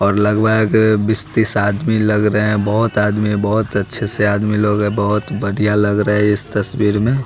और लगवाए गए बीस-तीस आदमी लग रहे हैं बहुत आदमी बहुत अच्छे से आदमी लोग हैं बहुत बढ़िया लग रहा है इस तस्वीर में।